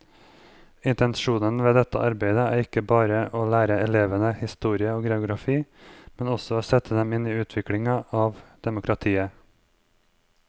Intensjonen ved dette arbeidet er ikke bare å lære elevene historie og geografi, men også å sette dem inn i utviklinga av demokratiet.